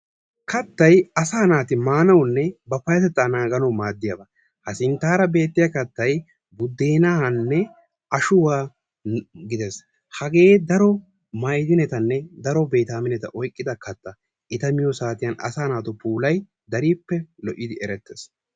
Kattay asaa naati maanawunne ba payyatettaa naaganawu maaddiyaba. Ha sinttaara beettiya kattay buddeenaanne ashuwa gidees. Hagee daro maydinetanne baytaamineta oyqqida katta. Eta miyo saatiyan asaa naatu puulay darippe lo'idi erettees.